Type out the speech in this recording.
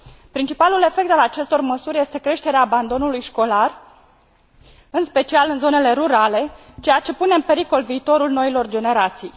Principalul efect al acestor măsuri este creșterea abandonului școlar, în special în zonele rurale, ceea ce pune în pericol viitorul noilor generații.